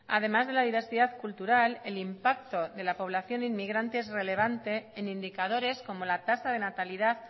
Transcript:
además de la diversidad cultural el impacto de la población inmigrante es relevante en indicadores como la tasa de natalidad